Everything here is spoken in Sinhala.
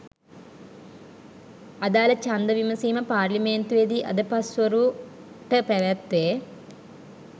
අදාළ ඡන්ද විමසීම පාර්ලිමේන්තුවේදී අද පස්වරු .ට පැවැත්වේ